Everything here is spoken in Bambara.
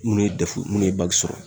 Munnu ye dɛfu munnu ye bagi sɔrɔ